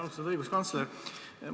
Austatud õiguskantsler!